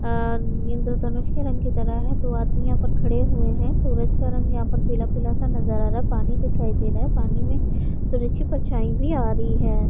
और इंद्रधनुष के रंग की तरह है दो आदमी यहाँ पर खड़े हुए है सूरज का रंग यहाँ पर पीला-पीला सा नजर आ रहा है पानी दिखाई दे रहा है पानी में सूरज की परछाई भी आ रही है ।